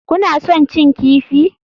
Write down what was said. Kuna son cin kifi?